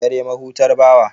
Dare mahutar bawa.